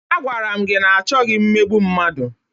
Agwara m gị na achọghị mmegbu mmadụ!